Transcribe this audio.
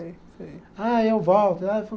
Ah, eu volto. Ah